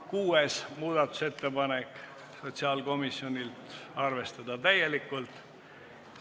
Kuues muudatusettepanek on sotsiaalkomisjonilt, arvestatud täielikult.